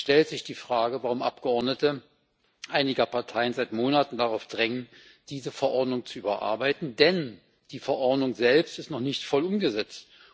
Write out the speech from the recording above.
Es stellt sich die Frage, warum Abgeordnete einiger Parteien seit Monaten darauf drängen, diese Verordnung zu überarbeiten, denn die Verordnung selbst ist noch nicht voll umgesetzt.